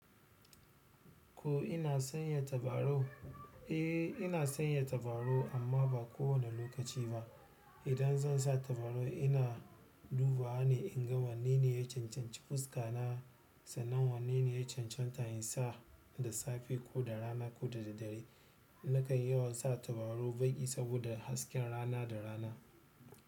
Ko ina sanya tabarau? Eh, ina sanya tabarau amma ba kowane lokaci ba. Idan zan sa tabarau, ina dubawa ne in ga wanne ne ya cancanci fuska na sannan wanne ne ya can canta insa da safe koda rana koda daddare. Nakan yawan sa tabarau baƙi saboda hasken rana da rana.